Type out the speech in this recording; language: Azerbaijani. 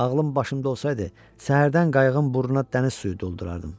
Ağlım başımda olsaydı, səhərdən qayığın burnuna dəniz suyu doldurardım.